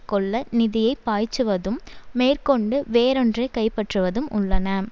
கொள்ள நிதியை பாய்ச்சுவதும் மேற்கொண்டு வேறொன்றை கைப்பற்றுவதும் உள்ளன